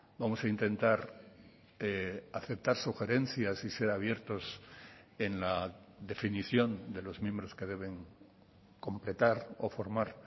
vamos a intentar aceptar sugerencias y ser abiertos en la definición de los miembros que deben completar o formar